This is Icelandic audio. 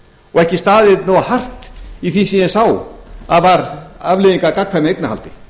og ekki staðið nógu hart í því sem ég sá að var afleiðing af gagnkvæmu eignarhaldi